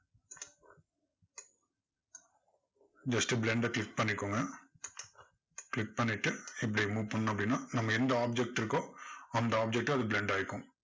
first blend அ click பண்ணிக்கோங்க click பண்ணிட்டு, இப்படி move பண்ணோம் அப்படின்னா, நம்ம எந்த object இருக்கோ அந்த object ல அது blend ஆயிகும்.